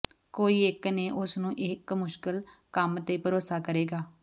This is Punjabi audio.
ਕੋਈ ਇੱਕ ਨੇ ਉਸ ਨੂੰ ਇਕ ਮੁਸ਼ਕਲ ਕੰਮ ਤੇ ਭਰੋਸਾ ਕਰੇਗਾ